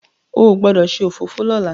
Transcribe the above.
o gbódò ṣe òfófó lọla!